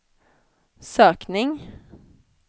sökning